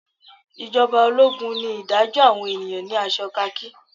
ijoba ologun ni idajo awon eniyan ni aso khaki.